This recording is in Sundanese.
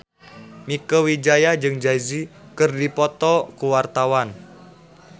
Mieke Wijaya jeung Jay Z keur dipoto ku wartawan